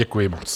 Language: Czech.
Děkuji moc.